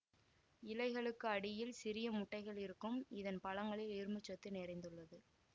இலைகளுக்கு அடியில் சிறியமுட்டைகள் இருக்கும் இதன் பழங்களில் இரும்புச் சத்து நிறைந்துள்ளது